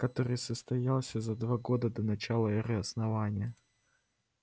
который состоялся за два года до начала эры основания